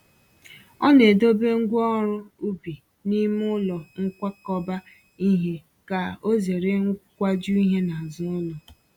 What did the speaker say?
Ọ na-edobe ngwa ọrụ ubi n’ime ụlọ nkwakọba ihe ka ozere nkwaju ihe n'azụ ụlọ